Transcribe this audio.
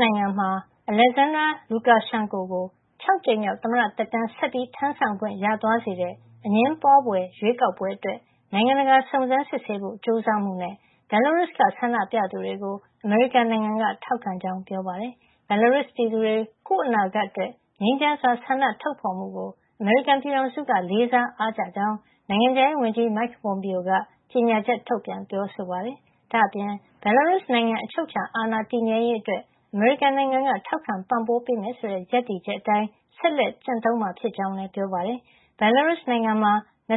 နိုင်ငံမှာ သမ္မတ Alexander Lukashenko ကို ၆ ကြိမ်မြောက် သမ္မတ သက်တမ်း ဆက်လက် ထမ်းဆောင်ခွင့် ရသွားစေတဲ့ အငြင်းပွားဖွယ် ရွေးကောက်ပွဲအတွက် နိုင်ငံတကာက စုံစမ်းစစ်ဆေးဖို့ကြိုးစားမှု နဲ့ Belarus က ဆန္ဒပြသူတွေကို အမေရိကန်နိုင်ငံက ထောက်ခံကြောင်း ပြောပါတယ်။ Belarus ပြည်သူတွေ ကိုယ့်အနာဂတ်အတွက့် ငြိမ်းချမ်းစွာ ဆန္ဒထုတ်ဖေါ်မှုကို အမေရိကန်ပြည်ထောင်စု လေးစား အားကျကြောင်း နိုင်ငံခြားရေးဝန်ကြီး Mike Pompeo က ကြေညာချက် ထုတ်ပြန်ပြောဆိုပါတယ်။ ဒါ့အပြင် Belarus နိုင်ငံ အချုပ်အခြာအာဏာတည်မြဲရေးအတွက် အမေရိကန်က ထောက်ခံပံ့ပိုးပေးမယ် ဆိုတဲ့ ရပ်တည်ချက်အတိုင်း ဆက်လက်ကျင့်သုံးမှာ ဖြစ်ကြောင်း လည်း ပြောပါတယ်။ Belarus နိုင်ငံမှာ ၂၆ နှ